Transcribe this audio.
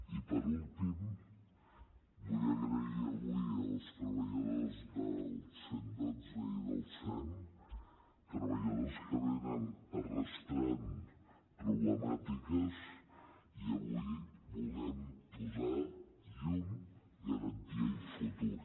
i per últim vull agrair avui als treballadors del cent i dotze i del sem treballadors que arrosseguen problemàtiques i avui volem posar llum garantia i futur